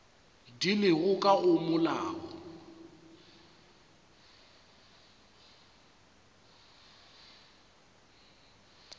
di lego ka go molao